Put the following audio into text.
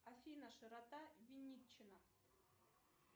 афина широта винничина